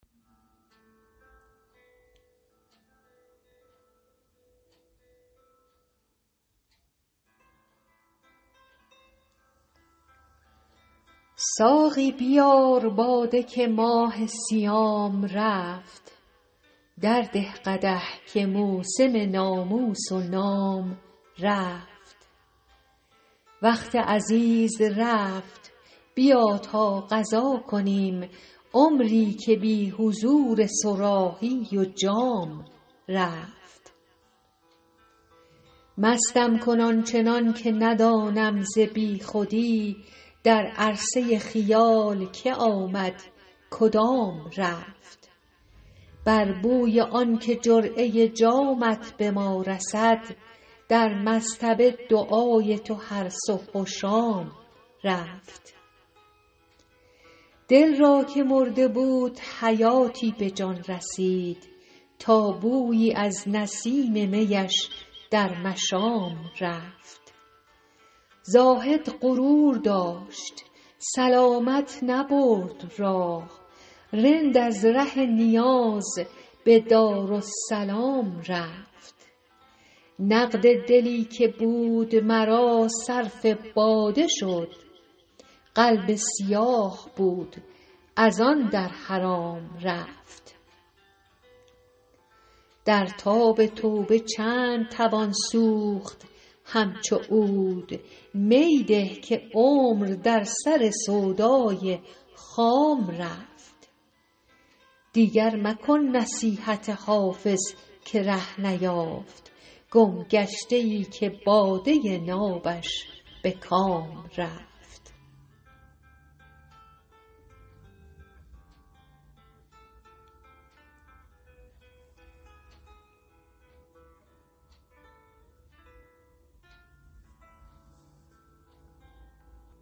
ساقی بیار باده که ماه صیام رفت درده قدح که موسم ناموس و نام رفت وقت عزیز رفت بیا تا قضا کنیم عمری که بی حضور صراحی و جام رفت مستم کن آن چنان که ندانم ز بی خودی در عرصه خیال که آمد کدام رفت بر بوی آن که جرعه جامت به ما رسد در مصطبه دعای تو هر صبح و شام رفت دل را که مرده بود حیاتی به جان رسید تا بویی از نسیم می اش در مشام رفت زاهد غرور داشت سلامت نبرد راه رند از ره نیاز به دارالسلام رفت نقد دلی که بود مرا صرف باده شد قلب سیاه بود از آن در حرام رفت در تاب توبه چند توان سوخت همچو عود می ده که عمر در سر سودای خام رفت دیگر مکن نصیحت حافظ که ره نیافت گمگشته ای که باده نابش به کام رفت